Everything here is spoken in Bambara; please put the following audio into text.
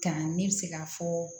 Kan ne bɛ se ka fɔ